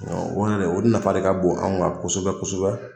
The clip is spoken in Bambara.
O yɛrɛ o nafa de ka bon anw kan kosɛbɛ kosɛbɛ